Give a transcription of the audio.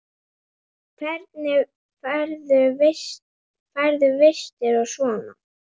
Hvernig færðu vistir og svona?